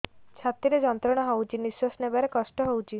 ଛାତି ରେ ଯନ୍ତ୍ରଣା ହଉଛି ନିଶ୍ୱାସ ନେବାରେ କଷ୍ଟ ହଉଛି